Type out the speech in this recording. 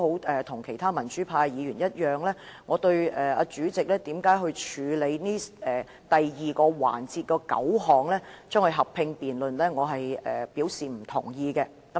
正如其他民主派議員一樣，我並不認同主席在第二個環節合併辯論9項附屬法例。